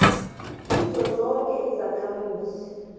kizo zoke izakhamuzi